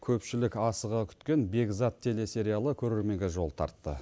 көпшілік асыға күткен бекзат телесериалы көрерменге жол тартты